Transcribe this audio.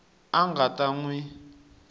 a nga ta n wi